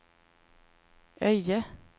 Öje